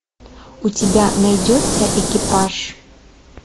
у тебя найдется экипаж